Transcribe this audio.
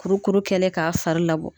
Kurukuru kɛlen k'a fari labɔ.